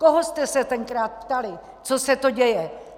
Koho jste se tenkrát ptali, co se to děje?